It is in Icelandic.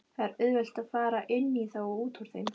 Það er auðvelt að fara inní þá og útúr þeim.